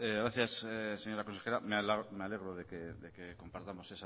gracias señora consejera me alegro de que compartamos